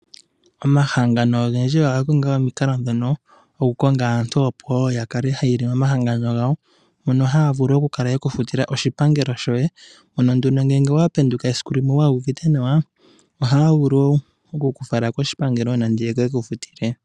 Omahangano ogendji oga konga aantu mbono opo wo ya kale hayiile momahangano gawo. Mono haya vulu oku kala yeku futila oshipangelo shoye. Nena nduno ngele owa penduka siku limwe waa uvite nawa, ohaa vulu wo oku ku fala koshipangelo nenge yeke ku futile.